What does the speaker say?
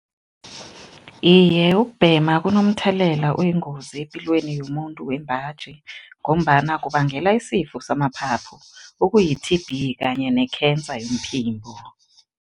Iye, ukubhema kunomthelela oyingozi epilweni yomuntu wembaji ngombana kubangela isifo samaphaphu okuyi-T_B kanye ne-cancer yomphimbo.